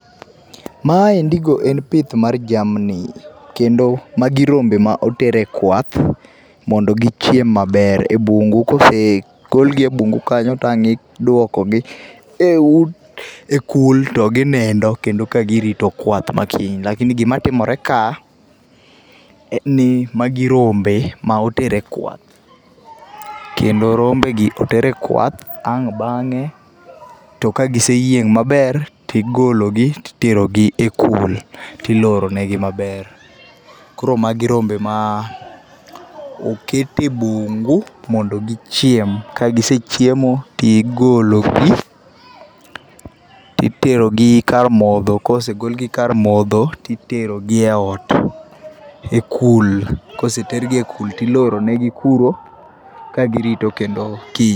Maendigo en pith mar jamni kendo magi rombe ma oter e kwath mondo gichiem maber ebungu, kose kelgi ebungu kanyo to ang' iduokogi eut ekul to ginindo ka girito kwath ma kiny. Lakini gimatimore ka en ni magi rombe ma oter e kwath. Kendo rombegi oter e kwath ang' bang'e to ka giseyieng' maber tigolo gi titerogi e kul, tiloro negi maber. Koro magi rombe ma oketi e bungu mondo gichiem. Ka gise chiemo tigologi, titerogi kar modho kosegol gi kar modho to iterogi eot, ekul. Koseter gi ekul tiloro negi kuro ka girito kendo kiny.